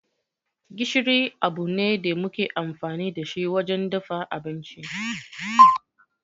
Gishiri abu ne da muke amfani da shi wajen dafa abinci.